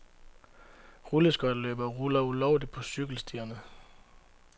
Rulleskøjteløbere ruller ulovligt på cykelstierne.